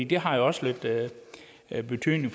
det har også lidt betydning